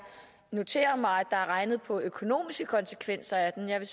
noterer mig at der er regnet på økonomiske konsekvenser af den jeg vil